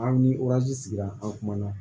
Aw ni sigira an kumana